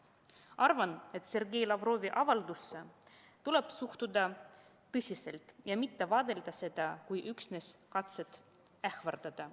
Arvan, et Sergei Lavrovi avaldusse tuleb suhtuda tõsiselt ja mitte vaadata seda kui üksnes katset ähvardada.